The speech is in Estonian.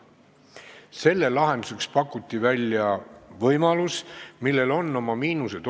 Selle lahenduseks pakuti välja võimalus, millel on omad miinused.